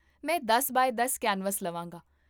ਮੈਂ ਦਸ ਬਾਏ ਦਸ ਕੈਨਵਸ ਲਵਾਂਗਾ